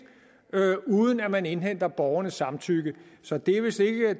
uden at man indhenter borgernes samtykke så det er vist lidt af